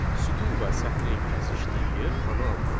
Sütun və sətrin kəsişdiyi yer xana adlanır.